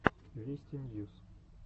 вести ньюс